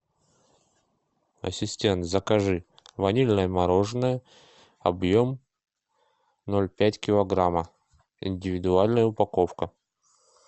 ассистент закажи ванильное мороженое объем ноль пять килограмма индивидуальная упаковка